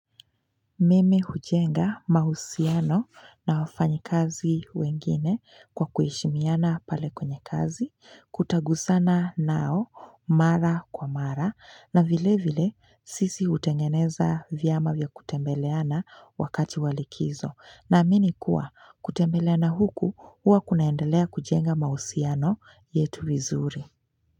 Mimi hujenga mahusiano na wafanyikazi wengine kwa kuheshimiana pale kwenye kazi kutagusana nao mara kwa mara na vile vile sisi hutengeneza vyama vya kutembeleana wakati wa likizo. Naamini kuwa kutembeleana huku huwa kunaendelea kujenga mahusiano yetu vizuri.